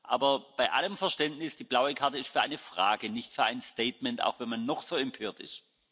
Aber bei allem Verständnis Die blaue Karte ist für eine Frage, nicht für ein Statement, auch wenn man noch so empört ist.